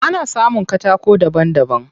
Ana samun katako daban daban.